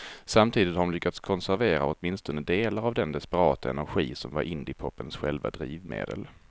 Samtidigt har de lyckats konservera åtminstone delar av den desperata energi som var indiepopens själva drivmedel.